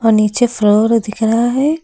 नीचे फ्लोर दिख रहा है।